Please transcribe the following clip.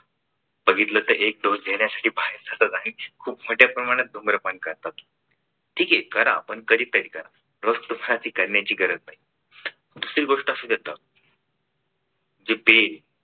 बघितलं तर एक dose घेण्यासाठी बाहेर जातात आणि खूप मोठ्या प्रमाणात धुम्रपान करतात. ठीक आहे करा. पण कधीतरी करा. रोज तुम्हाला ते करण्याची गरज नाही. दुसरी गोष्ट अशी देतात जी पेन